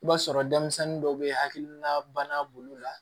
I b'a sɔrɔ denmisɛnnin dɔw bɛ hakilina bana bolo la